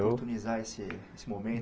Oportunizar esse esse